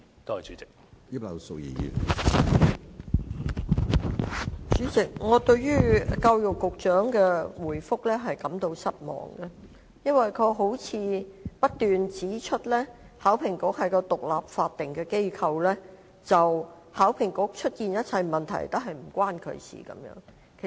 主席，我對教育局局長的回覆感到失望，因為他不斷指出，考評局是一個獨立法定機構，所出現一切問題均與他無關。